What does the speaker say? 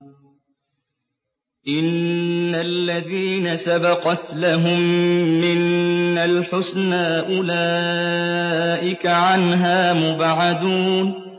إِنَّ الَّذِينَ سَبَقَتْ لَهُم مِّنَّا الْحُسْنَىٰ أُولَٰئِكَ عَنْهَا مُبْعَدُونَ